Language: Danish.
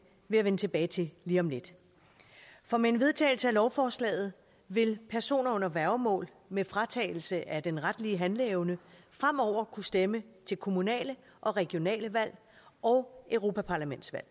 jeg vende tilbage til lige om lidt for med en vedtagelse af lovforslaget vil personer under værgemål med fratagelse af den retlige handleevne fremover kunne stemme til kommunale og regionale valg og europaparlamentsvalg